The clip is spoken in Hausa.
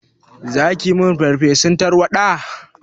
Zaki yi min farfesun tarwaɗa?